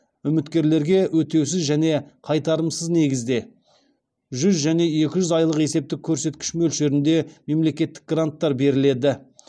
үміткерлерге өтеусіз және қайтарымсыз негізде жүз және екі жүз айлық есептік көрсеткіш мөлшерінде мемлекеттік гранттар беріледі